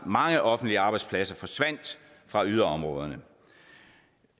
mange offentlige arbejdspladser fra yderområderne